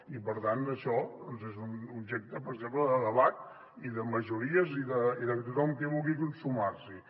i per tant això és un objecte per exemple de debat i de majories i de tothom qui vulgui sumar s’hi